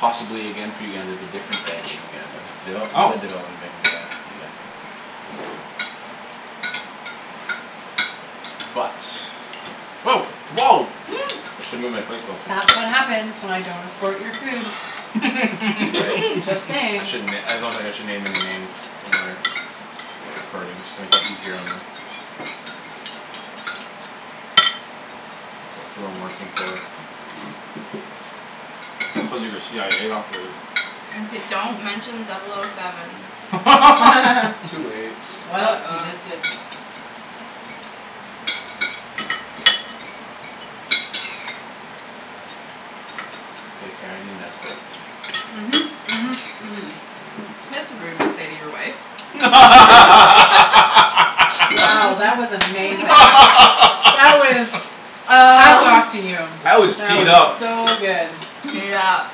possibly again for Uganda is a different bank in Uganda. Oh. Uga- Uganda But Woah. I should move my plate closer. That's what happens when I don't escort your food. Right. Just I saying. shouldn- I don't think I should name any names when we're recording, just to make it easier on them. Who I'm working for. Cuz you're a CIA operative. I say don't mention double o seven. Too late. Well, you just uh-oh. did. K, Kara, I need an escort. Mhm, mhm, mhm. That's rude to say to your wife. Wow, that was amazing. That was, hats Uh. off to you. That was That teed was up. so good. Yep.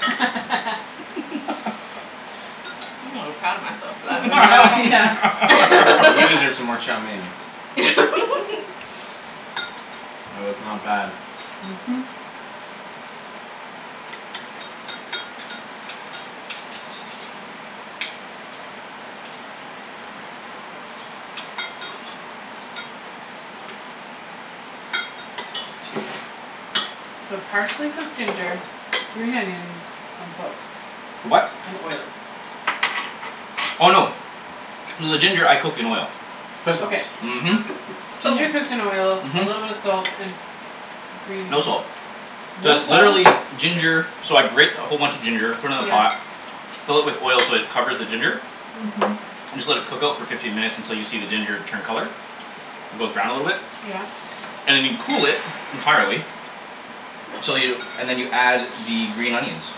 I'm a little proud of myself for that Yeah. You one. deserve some more chow mein. It was not bad. Mhm. So partially cooked ginger, green onions and salt. For what? And oil. Oh, no. So the ginger I cook in oil. Soy Okay. sauce. Mhm. Ginger cooks in oil, a little bit of Mhm. salt and green No salt. No Just salt? literally ginger. So I grate a whole bunch of ginger, put it in a yeah pot. fill it with oil so it covers the ginger Mhm. and just let it cook out for fifteen minutes until you see the ginger turn color. It goes brown a little bit. Yeah. And then you cool it entirely so you, and then you add the green onions.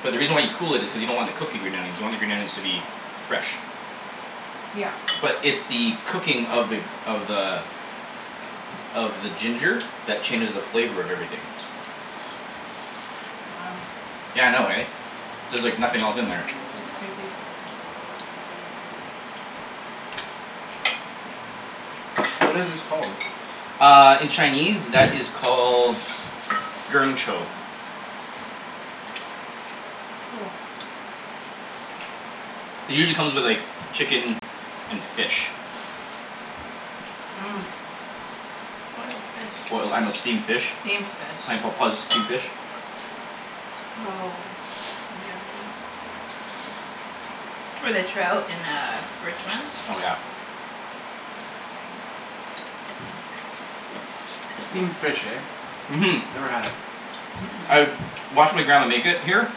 But the reason why you cool it is because you don't want to cook the green onions. You want the green onions to be fresh. Yep. But it's the cooking of the, of the of the ginger that changes the flavor of everything. Wow. Yeah, I know, eh? There's, like, nothing else in there. That's crazy. What is this called? Uh, in Chinese that is called Cool. It usually come with, like, chicken and fish. Boiled fish. Boil, I, I know, steamed fish. Steamed fish. steamed fish. With a trout in uh Richmond. Oh, yeah. Steamed fish, eh? Mhm. Never had it. I've watched my grandma make it here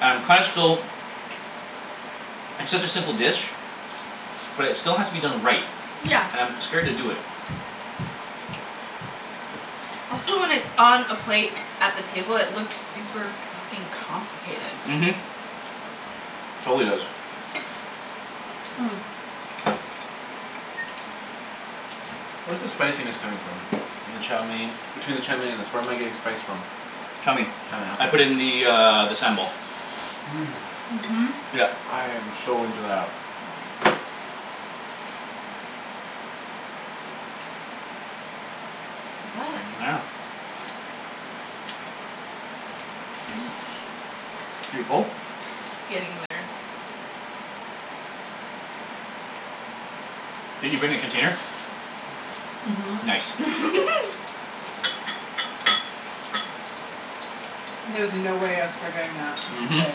and kinda still It's such a simple dish. But it still has to be done right. And I'm scared to do it. Also when it's on a plate at the table it look super fuckin' Mhm. complicated. Totally does. Hmm. Where's the spiciness coming from? In the chow mein, between the chow mein and the where am I getting the spice from? Chow mein. Chow I mein, ok. put in the, uh, the sambal. Mmm, Mhm. Yep. I am so into that. Yeah. You full? Getting there. Did you bring a container? Mhm. Nice. There was no way I was forgetting that Mhm. today.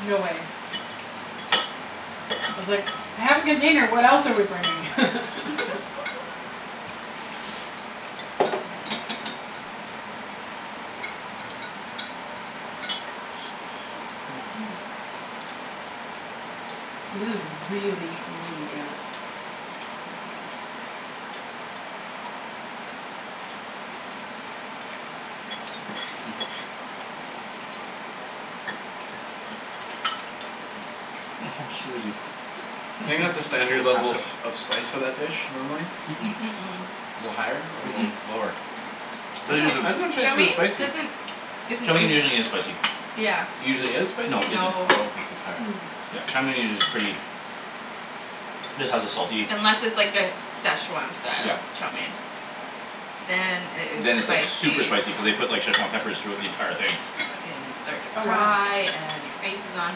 No way. I was like, "I have a container what else are we bringing." This is really, really good. Hmm. Oh, Susie. Do you think that's a standard level of, of spice for that dish, normally? Mm- Mm- mm. mm. A little higher or Mm- little mm. lower? I'm not, I dunno if Chow Chinese food is mein spicy. doesn't isn't Chow mein usually usu- isn't spicy. Yeah. Usually is spicy? No, isn't. No. Oh, okay. So sorry. Mmm. Yeah, chow mein is usu- pretty just has a salty Unless it's, like, a Szechwan style Yep. chow mein. Then it Then is it's, like, super spicy. spicy cuz they put, like, Szechwan peppers throughout the entire thing. Uh and you start to Oh, wow. cry and your face is on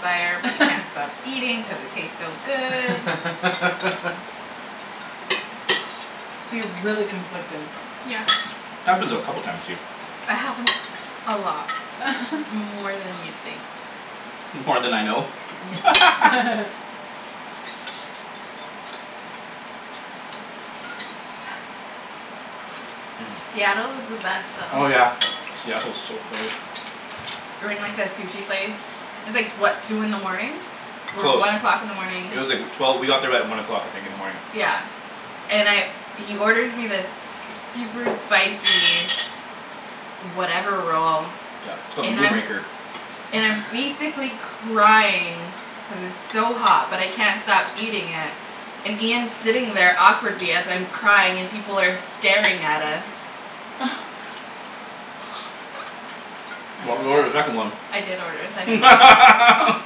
fire but you can't stop eating cuz it tastes so good. So you're really conflicted. Happens a couple of times to you. It happens a lot, more than you'd think. More then I know? Yeah. Mmm. Seattle is the best Oh, Oh, though. yeah. yeah. Seattle's so far. We were in, like, a sushi place. It's, like, what, two in the morning? Or Close. one o'clock in the morning. It was like, wh- twelve, we got there at one o'clock, I think, in the morning. Yeah. And I, he orders me this super spicy whatever roll Yeah, it's called the and Moon I'm, Raker. and I'm basically crying cuz it's so hot but I can't stop eating it and Ian's sitting there awkwardly as I'm crying and people are staring at us. But we ordered a second one. I did order a second one. That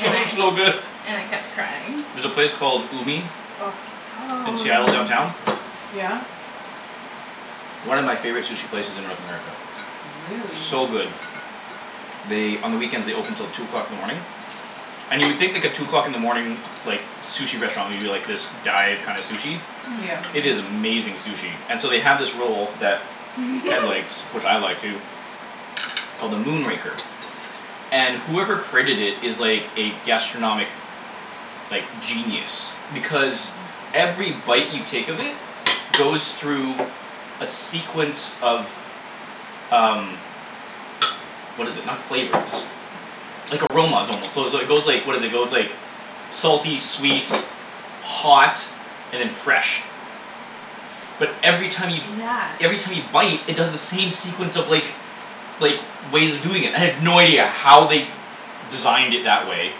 And was I so good. and I kept crying. There's a place called Umi Oh, in so Seattle downtown. yummy. Yeah? One of my favorite sushi places in North America. Really. So good. They, on the weekends they open till two o'clock in the morning. And you would think, like, a two o'clock in the morning like, sushi restaurant would be, like, this dive kinda sushi. Yeah. Mm- It is mm. amazing sushi. And so they have this roll that Ped likes, which I like too called the Moon Raker. And whoever created it is, like, a gastronomic like, genius. Because every bite you take of it goes through a sequence of um what is it, not flavors like, aromas, almost, so is, it goes, like, what is it, it goes, like salty, sweet hot and then fresh. But every time you Yeah. every time you bite it does the same sequence of, like like, ways of doing it. I have no idea how they designed it that way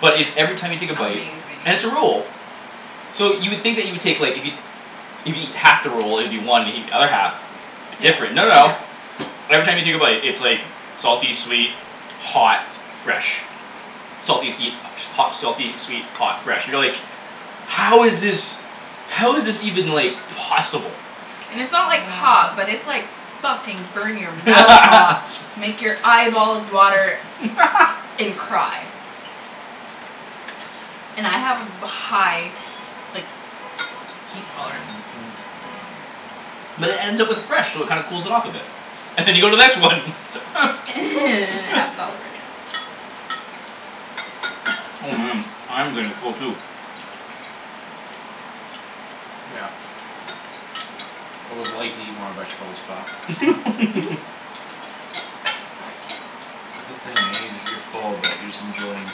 but it, every time you take a bite, Amazing. and it's a roll. So you would think that you would take, like, if you if you eat half the roll, it would be one if you eat the other half. Different, no, no. Every time you take a bite, it's, like salty, sweet, hot fresh. Salty, seed hot, selfie, sweet hot, fresh, you know, like "How is this How is this even, like, possible?" And it's not, like, hot but it's, like, fucking burn-your-mouth hot. Make your eyeballs water and cry. And I have a ba- high like, heat tolerance. But it ends up with fresh so it kinda cools it off a bit. And you go to the next one. And it happens all over again. Oh, man, I'm getting full too. Yeah. I would like to eat more veg, but I'll stop. That's the thing, eh? You're full but you're just enjoying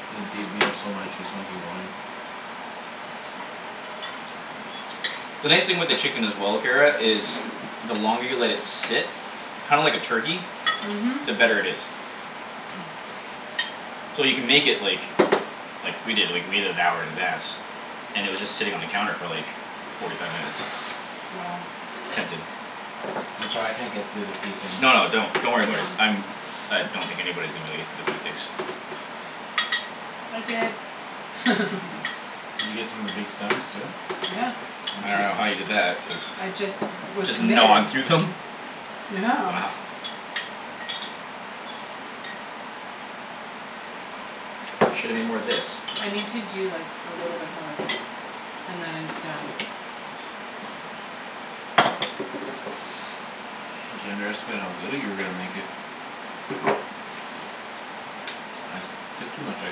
The nice thing with the chicken as well, Kara, is the longer you let it sit kinda like a turkey, Mhm. the better it is. So you can make it, like like, we did, like, we made it an hour in advance. And it was just sitting on the counter for, like forty five minutes. Wow. I'm sorry, I can't get through the pea things. No, no, don't, don't worry about it. I'm I don't think anybody's gonna be able to get through the pea tips. I did. Did you get some of the big stems too? Yeah. I don't know how Interesting. you did that cuz I just was Just committed. gnawed through them? Yeah. Wow. Shoulda made more of this. I need to do like a little bit more of this and then I'm done. I think you underestimated how good that you were gonna make it. I took too much, I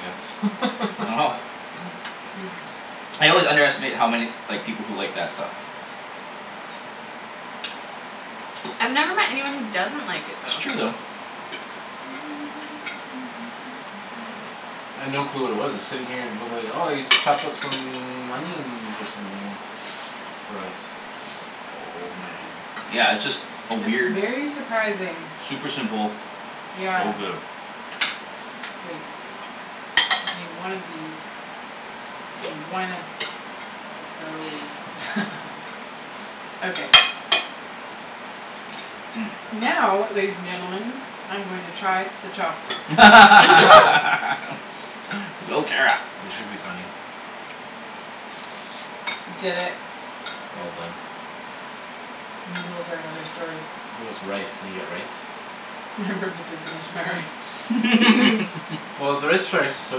guess. Wow. I always underestimate how many, like, people who like that stuff. I've never met anyone who doesn't like it It's true though. though. I'd no clue what it was. I was sitting here and it looked like, "Oh, he's chopped up some onions or something for us." Oh, man. Yeah, it's just a It's weird very surprising. Super simple Yeah. so good. Wait. I need one of these and one of those. Okay. Mmm. Now, ladies and gentlemen, I'm going to try the chopsticks. Go, Kara. This should be funny. Did it. All done. Noodles are another story. How's rice? Can you get rice? I purposely finished my rice. Mhm. Well, is so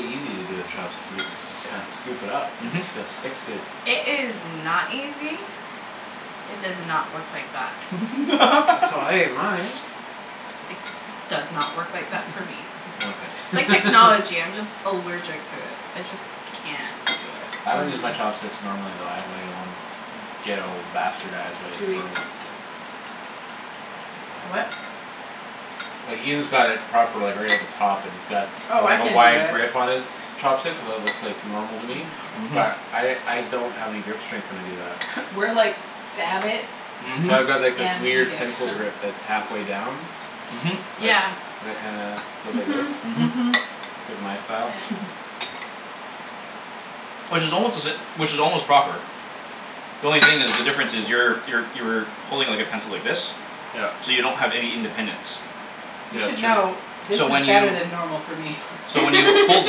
easy to do with chopsticks. You just s- kind of scoop it up and Mhm. it just sticks to It is not easy. It does not work like that. That's how I ate mine. It does not work like that for me. Yeah, It's okay. like technology. I'm just allergic to it. I just can't do it. I don't use Hmm. my chopsticks normally though. I have like my own ghetto bastardized way of Chewy. the What? Like, Ian's got it proper, like, right at the top, and it's got, Oh, I like, a can't do wide that. grip on his chopsticks so that looks like normal to me Mhm. but I, I don't have any grip strength when I do that. We're like, "Stab it. Mhm. So I've got like this and eat weird it." pencil grip that's half way down. Mhm. That, Yeah. that kinda goes like this. Mhm, Mhm. mhm. It's like my style. Which is almost to sa- which is almost proper. The only thing is, the difference is, you're, you're, you're pulling, like, a pencil, like this Yep. so you don't have any independence. You Yeah, should it's true. know, this So when is better you than normal for me. so when you hold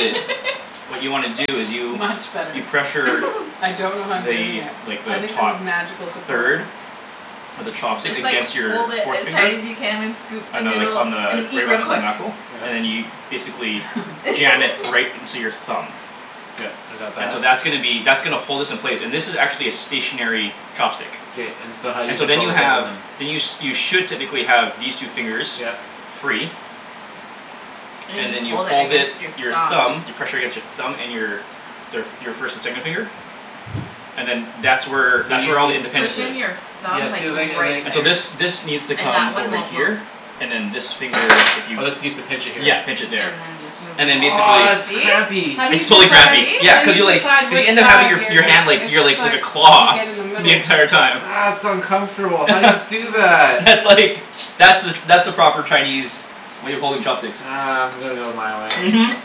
it what you wanna do is you Much better. you pressure I don't know how I'm doing it. the, like, I the think this top is magical supporter. third of the You chopstick just, like, against your hold it forth as finger hard as you can and scoop the on the, like, noodle on and the eat right real on the quick. knuckle and then you Yeah. basically jam it right into your thumb. Yep, I got And so that. that's gonna be, that's gonna hold this in place, and this is actually a stationary K- chopstick. k, and so how do you And so then control you the second have one? then you sh- should technically have these two fingers Yep. free. And you and just then you hold it hold against your it, your thumb. thumb, you pressure against your thumb, and your their f- your first and second finger and then that's where So that's where all the Push independence in is. your you thumb, Yeah, like, see, and like, and right like And so this, there. this needs to And that come one over won't move. here, and then this finger, if you Oh, this needs to pinch it here. Yeah, pinch it there. And and then then basically Ah, that's this. crampy. How do you It's totally See? decide, crampy, See? yeah. how do Cuz you you, like, decide you which end up having side your f- you're your gonna, hand like, your, it's like, like a like You take claw it in the middle. the entire Ah, time. that's uncomfortable. How do you do that? That's, like, that's the that's the proper Chinese way of holding chopsticks. Ah, I'm gonna go my way. Mhm.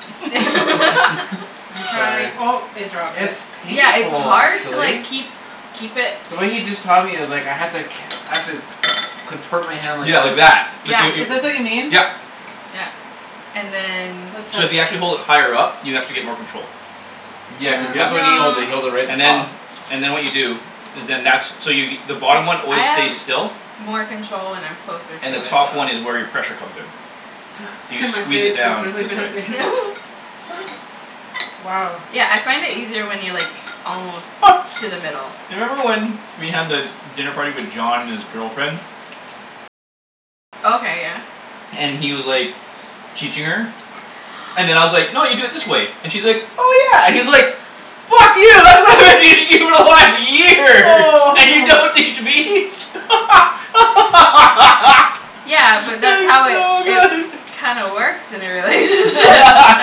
I'm Sorry. trying, oh, it dropped it. It's Yeah, it's painful hard to like actually. keep, keep it The way he just taught me, it's like, I had to ca- I have to con- contort my hand like Yeah, like that. this. Like Yeah. yo- Is this what you yo- mean? yep. Yeah. And then So if you actually hold it higher up, you actually get more control. Yeah, cuz look Yep. when he holds it; No. he holds it right at And the top. then, and then what you do is then, that's, so you the Se- bottom one I always have stays still more control when I'm closer to and the it top one is though. where your pressure comes in. So you squeeze it down this way Wow. Yeah, I find it easier when you're, like almost to the middle. You remember when we had the dinner party with John and his girlfriend? Okay, yeah. And he was, like teaching her and then I was like, "No, you do it this way." And she's like, "Oh, yeah" and he's like "Fuck you for one year, Oh. and you don't teach me?" Yeah, but that's That how was it, so it good. kinda works in a relationship.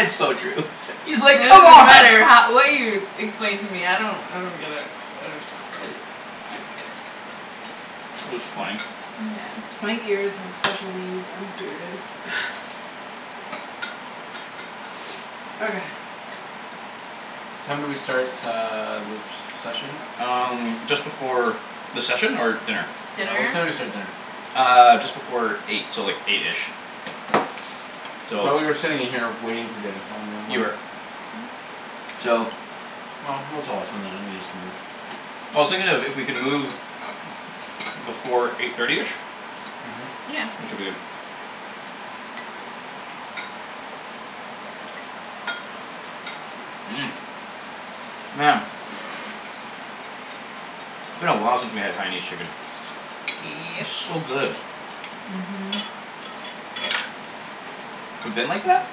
It's so true. He's, It like, "Come doesn't on." matter how, what you explain to me; I don't, I don't get it. I don't get it. I don't get it. That was funny. Yeah. My ears have special needs. I'm serious. Okay. What time did we start uh the se- session? Um, just before The session? Or dinner? Yeah, what time did we start dinner? Uh, just before eight, so like eight-ish. So. Thought we were sitting in here waiting for dinner, so You were. So. No, no. I was thinking if, if we can move before eight thirty-ish Mhm. Yeah. we should be good. Mmm, man. It's been a while since we had Haianese chicken. Yep. It's so good. Mhm. Mhm. We've been like that?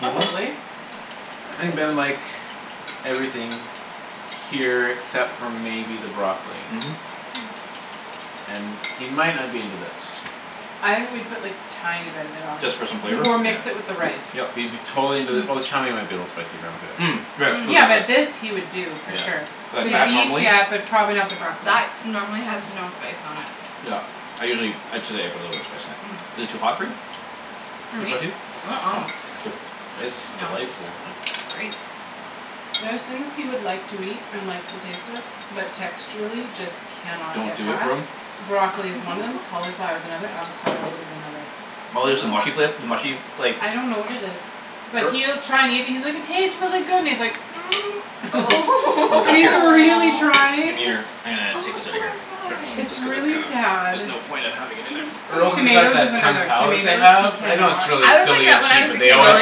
Mhm. Probably. I think Ben would like everything here except for maybe the broccoli. Mhm. And he might not be into this. I would put, like, tiny bit of it on. Just for some flavor? Or mix it Yeah. with the rice. Yep. He'd be totally into the, well, the chow mein might be a little spicy for him too, actually. Mm, right, cuz Yeah, of but this the he would do for sure. Yeah. Like, The that, beef, normally? yeah, but probably not the broccoli. That normally has no spice on it. Yep, I usually, ah, today I put a little bit of spice in it. Is it too hot for you? For Too me? spicy? Uh- uh. Oh, good. It's No, delightful. it's great. There are thing he would like to eat and likes to taste it but texturally just can not Don't get do it past. for him? Broccoli is one of them, cauliflower is another, Hm. avocado is another. Oh there's the mushy fla- the mushy, like I don't know what it is. But Or he'll try and eat and he's like, "It tastes really good" and he's like, Oh. And he's a really Aw. trying. Gimme your, ah, take Oh, this outta poor here. Sure. It's guy. Cuz it's really kind of, sad. there's no point of having it in there. Earl's has got Tomatoes is that Kung another. Pow that they Tomatoes, he have. I know it's cannot. really I was like silly and that when I cheap was but a they kid always though. No,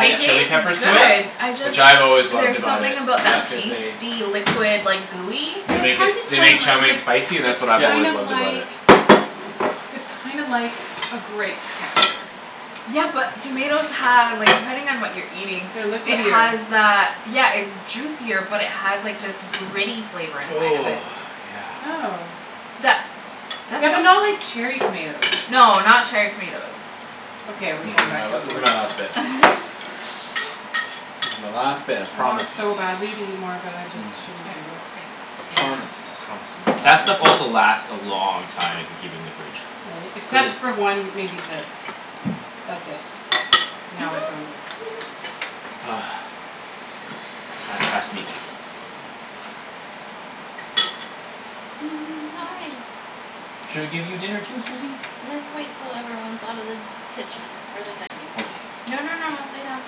They yep. chile taste peppers to it Yep. good. I just, which I've always loved there's about it, something about that Yeah. just cause they pasty liquid, like, gooey. they Well, I make it, tried to they tell make him. I chow was mein like, spicy and that's what "It's I've Yeah kind always of loved about like it. it's kind of like a grape texture." Yeah, but tomatoes have, like, depending on what you're eating They're it liquidier. has that, yeah, it's juicier but it has, like, this gritty flavor inside of it. Oh, yeah. Oh. That That's Yeah, what but not like cherry tomatoes. No, not cherry tomatoes. Okay, we're This going is back my, to Mm. this is my last bit. This is my last bit, I I promise. want so badly to eat more but I just Mm. I, I shouldn't do it. I can't promise. My That promise stuff is also a lie. lasts a long time if you keep it in the fridge. Really, Cuz except it for one, maybe this. That's it; now it's over. Hi. Should we give you dinner too, Susie? Let's wait till everyone's out of the kitchen. Or the dinning room. Okay. No, no, no, no, lay down.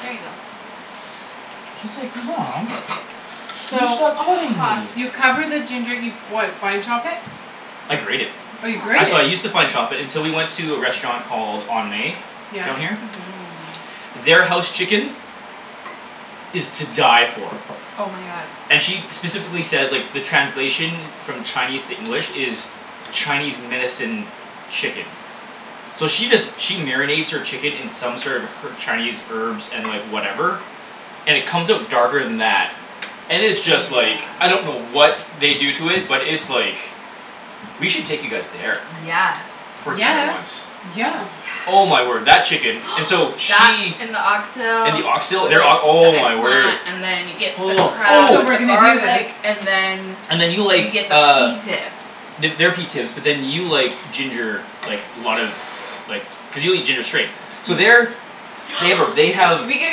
There you go. Mom. You So stopped Oh, petting huff. me. you cover the ginger, you what, fine chop it? I grate it. Oh, you I, grate it? so I use to fine chop it until we went to a restaurant called On May Yeah. down Mhm. here. Their house chicken is to die for. Oh, my god. And she specifically says, like, the translation from Chinese to English is Chinese medicine chicken. So she does she marinates her chicken in sort of her- Chinese herbs and, like, whatever and it comes out darker than that and it's just, like Yeah. I don't know what they do to it but it's, like we should take you guys there Yes. for dinner Yeah, once. yeah. Oh, yeah. Oh, my word, that chicken. And so That she and the And oxtail the oxtail, with like their ok- oh, the my eggplant word. and then you get the Oh. crab So with we're the Ooh. Oh. gonna do this. garlic and then And then you you like, get the pea uh tips. The, their pea tips but then you like ginger, like, a lot of like, cuz you'll eat ginger straight. So their They have a, they have We gotta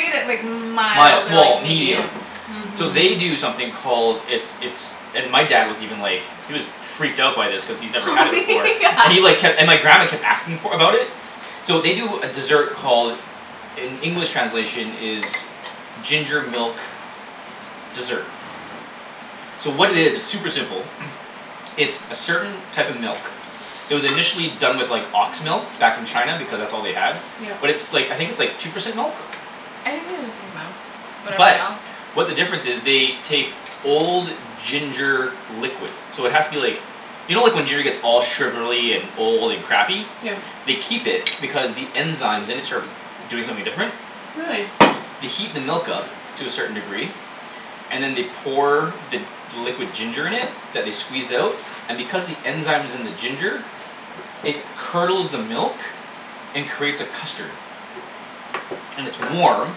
get it, like, mild Mild, or, well, like, medium. medium. So Mhm. they do something called It's, it's and my dad was even like he was freaked out by this cuz he's never Oh had it before yeah. and he like kept, and my grandma kept for, about it. So they do a desert called in English translation is ginger milk dessert. So what it is, it's super simple. It's a certain type of milk. It was initially done with, like, ox milk back in China because that's all they had Yep. but it's, like, I think it's, like, two percent milk? I think they just use milk, whatever But milk. what the difference is, they take old ginger liquid. So it has to be, like you know like, when giner gets all sugarly and old and crappy? Yeah. They keep it because the enzymes in it start doing something different. Really. They heat the milk up to a certain degree and then they pour the, the liquid ginger in it that they squeezed out and because the enzyme's in the ginger it curdles the milk and creates a custard. And it's warm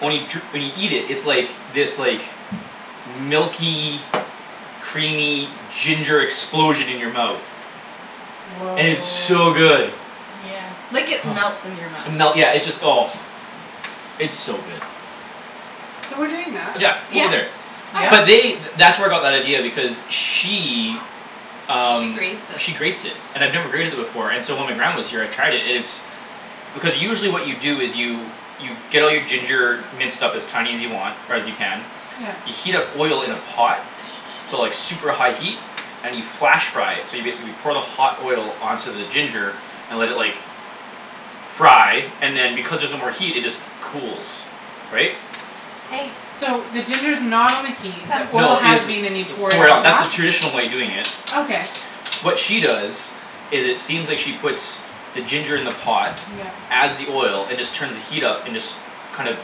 only jur- when you eat it, it's like, this, like, milky creamy ginger explosion in your mouth. Woah. And it's so good. Like, it melts in your And melt, mouth. yeah, it just, oh. It's so good. So we're doing that? Yeah, Yeah. over there. Yeah? Oh, But yeah. they, th- that's where I got that idea because she She um, she grates it. grates it. And I've never grated it before and so when my grandma was here I tried it, and it's because usually what you do is you you get all your ginger minced up as tiny as you want, or as you can Yeah. you heat up oil in a pot to like super high heat and you flash fry it so you basically pour the hot oil onto the ginger and let it, like fry and then because there's no more heat it just cools. Right? Hey. So the ginger's not on the heat, the Come. oil No, it has is. been and you pour it Pour it on out, that's the top? traditional way of doing it. Sit. Okay. What she does is it seems like she puts the ginger in the pot Yep. adds the oil and just turns the heat up and just kind of,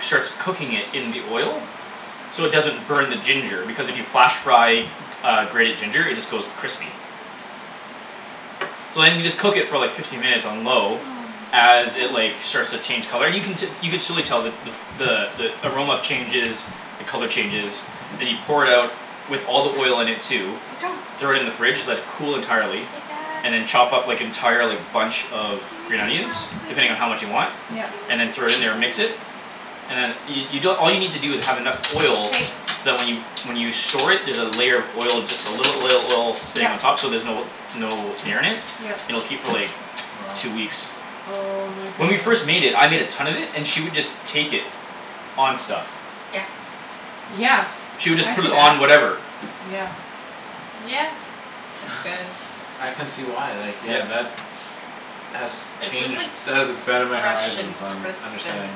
starts cooking it in the oil. So it doesn't burn the ginger because if you flash fry uh, grated ginger it just goes crispy. So then you just cook it for like fifteen minutes on low Oh, as it, oh. like, starts to change color, and you can te- you can surely tell the, the f- the, the aroma changes the color changes then you pour it out with all the oil in it too What's wrong? throw it in the fridge, let it cool entirely and then chop up, like, entire, like, bunch of green Gimme onions some depending on how broccoli. much you want Yup. Gimme and then throw it in some there and mix it broccoli. and then you, you don- all you need to do is have enough oil so Hey. that when you, when you store it, there's a layer of oil, just a little oil, oil stain on Yup. top so there's no, no air in it, Yup. and it'll keep for, like, Wow. two weeks. Oh, my When we goodness. first made it, I made a ton of it and she would just take it on stuff. Yeah. Yeah, She would just I put see it that, on whatever. yeah. Yeah, it's good. I can see why, like, yeah, Yep. that has It's just, changed, like, that has expanded my fresh and horizons on crisp and understanding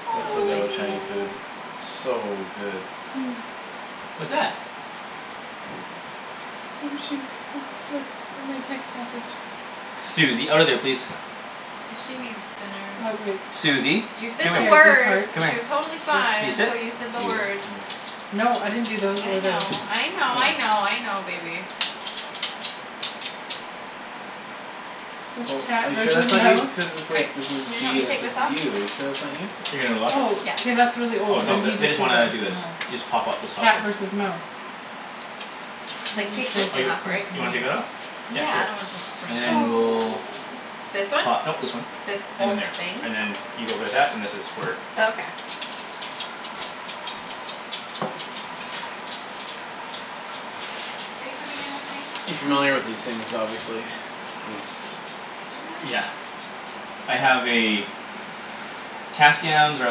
a Was so little good with spicy. Chinese food, so good. Hm. What's that? Oh, shoot. Look, look at my text message. Susie, outta there, please. She needs dinner. Susie, You said come the words. here, come She here. was totally fine Can you This. sit? until you That's said the you, words. yeah. No, I didn't do those I or those. know, I know, I Oh. know, I know, baby. Oh, are you sure that's not you, cuz it's I, like, this is can you help G me and this take is this off? you. Are you sure that's not you? You're gonna what? Oh, Yeah. k, that's really Oh, old. no, Then he the, they just did this just and wanna do this. You this. just pop up this soft Cat one. versus mouse. Like, take this Oh, thing you, off, right? you wanna take that off? Yeah, Yeah, I don't want sure, and to then Oh. we'll This one? pop, no, this This whole one. thing? And then there. And then you go there that, and this is for Oh, okay. Are you coming You in with me? familiar with these things, obviously. These Yeah. I have a Tascams are